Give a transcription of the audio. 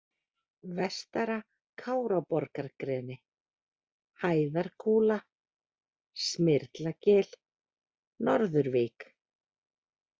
Vestara-Káraborgargreni, Hæðarkúla, Smyrlagil, Norðurvík